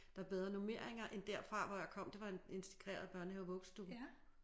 Der bedre normering end derfra hvor jeg kom det var en integreret børnehave vuggestue